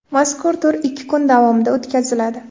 Mazkur tur ikki kun davomida o‘tkaziladi.